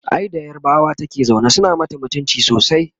ai da yarbawa take zaune suna mata mutumci sosai